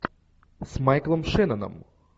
с майклом шенноном